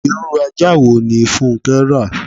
Irú ajá wo ní funke rà?